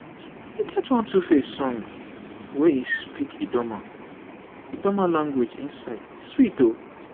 e get one 2face song wey he speak idoma idoma language inside e sweat o